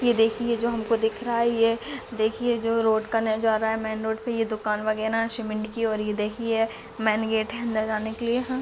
ये देखिए जो हमको दिख रहा है ये देखिए जो रोड का नजारा है मेंन रोड मे ये दुकान वगैरा सीमेंट की और ये देखिए मेन गेट अंदर जाने के लिए --